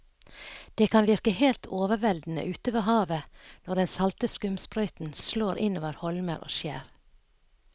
Det kan virke helt overveldende ute ved havet når den salte skumsprøyten slår innover holmer og skjær.